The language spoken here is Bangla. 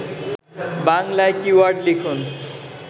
বাংলায় কীওয়ার্ড লিখুন